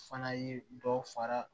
Fana ye dɔ fara